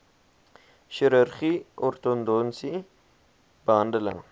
chirurgie ortodontiese behandeling